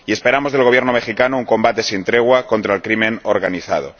y esperamos del Gobierno mexicano un combate sin tregua contra el crimen organizado.